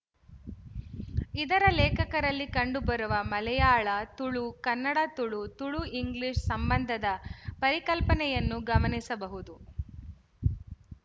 ಇದರ ಲೇಖಕರಲ್ಲಿ ಕಂಡುಬರುವ ಮಲಯಾಳತುಳು ಕನ್ನಡತುಳು ತುಳುಇಂಗ್ಲಿಶ ಸಂಬಂಧದ ಪರಿಕಲ್ಪನೆಯನ್ನು ಗಮನಿಸಬಹುದು